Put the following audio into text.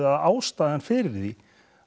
að ástæðan fyrir því